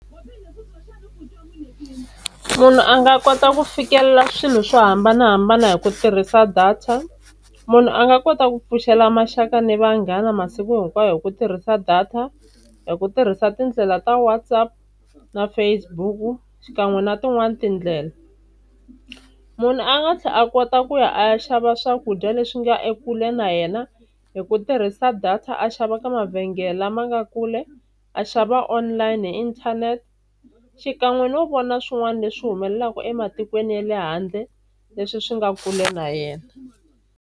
Munhu a nga kota ku fikelela swilo swo hambanahambana hi ku tirhisa data. Munhu a nga kota ku pfuxela maxaka na vanghana masiku hinkwayo hi ku tirhisa data, hi ku tirhisa tindlela ta WhatsApp na Facebook xikan'we na tin'wani tindlela. Munhu a nga tlhela a kota ku ya a ya xava swakudya leswi nga ekule na yena hi ku tirhisa data a xava ka mavhengele lama nga kule, a xava online hi inthanete xikan'we no vona swin'wana leswi humelelaka ematikweni ya le handle leswi swi nga kule na yena.